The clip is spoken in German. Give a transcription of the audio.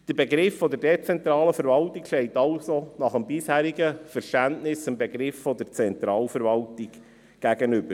Der Begriff der dezentralen Verwaltung steht also nach bisherigem Verständnis dem Begriff der Zentralverwaltung gegenüber.